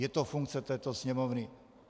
Je to funkce této Sněmovny.